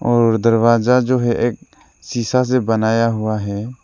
और दरवाजा जो है एक शीशा से बनाया हुआ है।